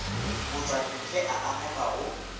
matšwantle a a amega go